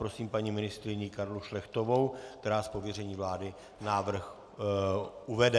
Prosím paní ministryni Karlu Šlechtovou, která z pověření vlády návrh uvede.